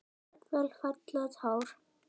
Jafnvel fella tár.